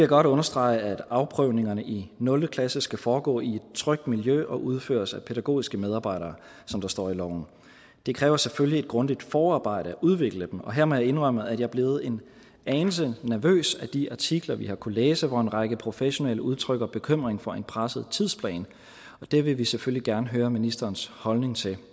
godt understrege at afprøvningerne i nul klasse skal foregå i et trygt miljø og udføres af pædagogiske medarbejdere som der står i loven det kræver selvfølgelig et grundigt forarbejde at udvikle dem og her må jeg indrømme at jeg er blevet en anelse nervøs af de artikler vi har kunnet læse hvor en række professionelle udtrykker bekymring for en presset tidsplan det vil vi selvfølgelig gerne høre ministerens holdning til